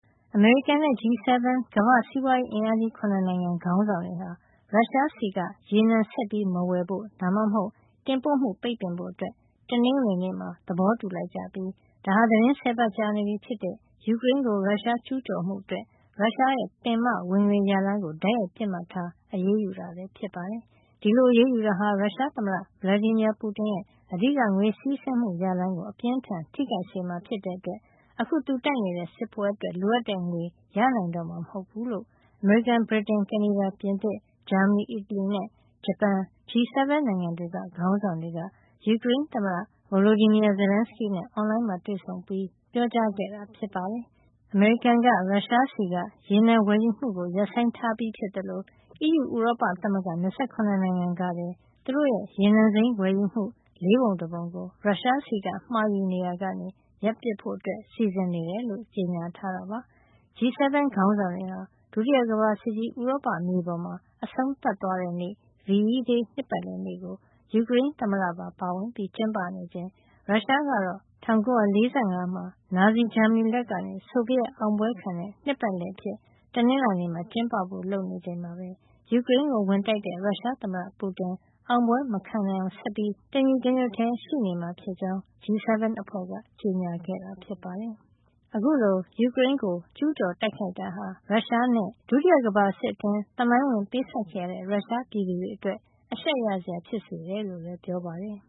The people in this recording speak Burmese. အမေရိကန်နဲ့ G-7 ကမ္ဘာ့စီးပွားရေးအင်အားကြီး ၇ နိုင်ငံ ခေါင်းဆောင်တွေဟာ ရုရှားဆီက ရေနံဆက်မဝယ်ဖို့ ဒါမှမဟုတ် တင်ပို့မှုပိတ်ပင်ဖို့ တနင်္ဂနွေနေ့မှာ သဘောတူလိုက်ကြပြီး ဒါဟာ သီတင်း ၁၀ ပတ်ကြာနေပြီဖြစ်တဲ့ ယူကရိန်းကို ရုရှားကျူးကျော်မှုအတွက် ရုရှားရဲ့ ပင်မဝင်ငွေရလမ်းကို တိုက်ရိုက်ပစ်မှတ်ထား အရေးယူတာ ဖြစ်ပါတယ်။ ဒီလိုအရေးယူတာဟာ ရုရှားသမ္မတ Vladimir Putin ရဲ့ အဓိက ငွေစီးဆင်းမှု ရလမ်းကို အပြင်းအထန် ထိခိုက်စေမှာ ဖြစ်တဲ့အတွက် အခု သူတိုက်နေတဲ့ စစ်ပွဲအတွက် လိုတဲ့ငွေ ရနိုင်တော့မှာ မဟုတ်ဘူးလို့ အမေရိကန်၊ ဗြိတိန်၊ ကနေဒါ၊ ပြင်သစ်၊ ဂျာမနီ၊ အီတလီနဲ့ ဂျပန် G-7 နိုင်ငံတွေက ခေါင်းဆောင်တွေ ယူကရိန်းသမ္မတ Volodymyr Zelenskyy နဲ့ အွန်လိုင်းဆွေးနွေးပွဲ အပြီးမှာ ပြောကြားတာ ဖြစ်ပါတယ်။ အမေရိကန်က ရုရှားဆီက ရေနံဝယ်ယူမှုကို ရပ်ဆိုင်းထားပြီးဖြစ်သလို အီးယူ ဥရောပသမဂ္ဂ ၂၇ နိုင်ငံကလည်း သူတို့ရဲ့ ရေနံစိမ်းဝယ်ယူမှု ၄ ပုံ ၁ ပုံကို ရုရှားဆီက မှာယူနေရာကနေ ရပ်ဆိုင်းဖို့ စီစဉ်နေတယ်လို့ ကြေညာထားတာပါ။ G-7 ခေါင်းဆောင်တွေဟာ ဒုတိယကမ္ဘာစစ်ကြီး ဥရောပမြေပေါ်မှာ အဆုံးသတ်သွားတဲ့နေ့ VE Day နှစ်ပတ်လည်နေ့ကို ယူကရိန်းသမ္မတပါ ပါဝင်ပြီး ကျင်းပနေချိန် ရုရှားကတော့ ၁၉၄၅ မှာ နာဇီ ဂျာမနီလက်ကနေ ဆိုဗီယက် အောင်ပွဲခံတဲ့ နှစ်ပတ်လည်နေ့အဖြစ် တနင်္လာနေ့မှာ ကျင်းပဖို့ လုပ်နေချိန်မှာပဲ ယူကရိန်းကို ဝင်တိုက်တဲ့ ရုရှားသမ္မတ Putin အောင်ပွဲမခံနိုင်အောင် ဆက်ပြီး တညီတညွတ်ထည်း ရှိနေမှာဖြစ်ကြောင်း G-7 အဖွဲ့က ကြေညာခဲ့တာ ဖြစ်ပါတယ်။ အခုလို ယူကရိန်းကို ကျူးကျော်တိုက်ခိုက်တာဟာ ရုရှားနဲ့ ဒုတိယကမ္ဘာစစ်အတွင်း သမိုင်းဝင်ပေးဆပ်ခဲ့ရတဲ့ ရုရှားပြည်သူတွေအတွက် အရှက်ရစရာ ဖြစ်စေတယ်လို့လည်း ပြောပါတယ်။